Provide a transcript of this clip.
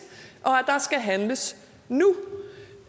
og skal handles nu